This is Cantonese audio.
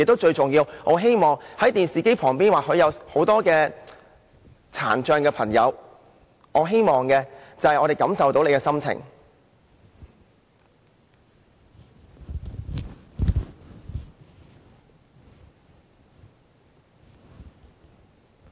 最重要的是，在電視機前或眾多殘障的朋友，我希望他們知道我們感受到他們的心情。